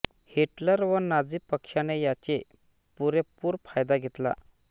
Hitler व Nazi पक्षाने याचे पूरेपूर फायदा घेतला